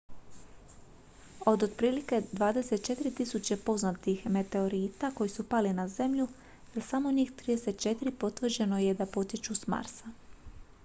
od otprilike 24.000 poznatih meteorita koji su pali na zemlju za samo njih 34 potvrđeno je da potječu s marsa